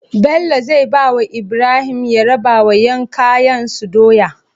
Bello zai bawa Ibrahim ya rabawa yan kaiyen su doya